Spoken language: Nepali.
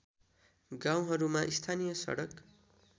गाउँहरूमा स्थानीय सडक